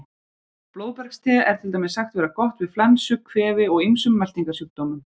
Blóðbergste er til dæmis sagt vera gott við flensu, kvefi og ýmsum meltingarsjúkdómum.